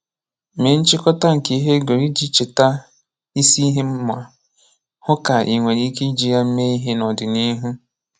Mee nchị̀kọ̀tà nke ihe ị gụrụ iji cheta isi ihe ma hụ ka ị nwere ike iji ya mee ihe n’ọdịnihu.